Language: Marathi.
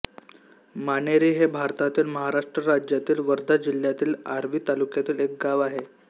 माणेरी हे भारतातील महाराष्ट्र राज्यातील वर्धा जिल्ह्यातील आर्वी तालुक्यातील एक गाव आहे